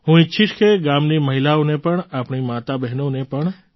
હું ઈચ્છીશ કે ગામની મહિલાઓને આપણી માતાઓબહેનોને